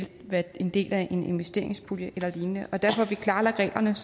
være en del af en investeringspulje eller lignende der får vi klarlagt reglerne